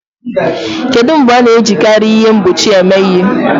Kedu mgbe a na-ejikarị ihe mgbochi eme ihe?